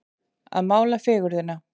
Að mála fegurðina